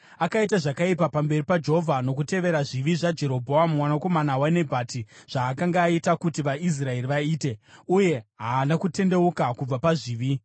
Akaita zvakaipa pamberi paJehovha nokutevera zvivi zvaJerobhoamu mwanakomana waNebhati, zvaakanga aita kuti vaIsraeri vaite, uye haana kutendeuka kubva pazvivi.